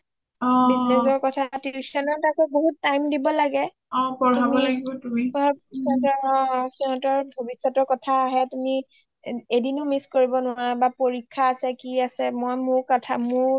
business ৰ কথা tuition ত আকৌ বহুত time দিব লাগে অঅঅ সিঁহতৰ ভৱিষ্যতৰ কথা আহে তুমি এদিনও miss কৰিব নোৱাৰা বা পৰীক্ষা আছে কি আছে মই মোৰ কথা